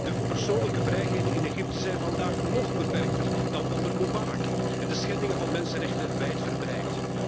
De persoonlijke vrijheden in Egypte zijn vandaag nog beperkter dan onder Mubarak en de schendingen van mensenrechten wijdverbreid.